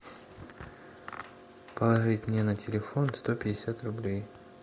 положить мне на телефон сто пятьдесят рублей